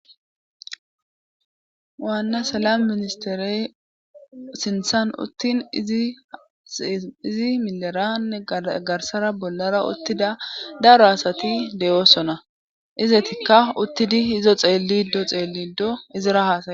Waanna salam ministerey sinthan uttin izi mileranne garsara bollara uttida daro asati de7oosona izetikka uttidi hizo xeellido xeelido izira haasay